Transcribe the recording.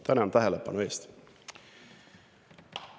Tänan tähelepanu eest!